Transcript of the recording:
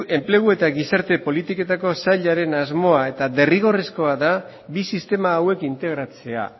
enplegu eta gizarte politiketako sailaren asmoa eta derrigorrezkoa da bi sistema hauek integratzea